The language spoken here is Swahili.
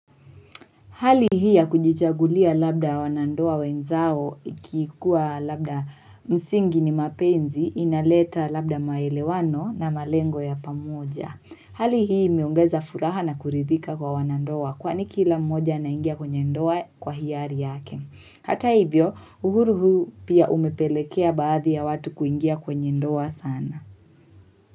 Hali hii ya kujichagulia labda wanandoa wenzao ikikuwa labda msingi ni mapenzi inaleta labda maelewano na malengo ya pamoja. Hali hii imeongeza furaha na kuridhika kwa wanandoa kwani kila mmoja anaingia kwenye ndoa kwa hiari yake. Hata hivyo uhuru huu pia umepelekea baadhi ya watu kuingia kwenye ndoa sana.